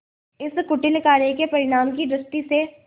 इस कुटिल कार्य के परिणाम की दृष्टि से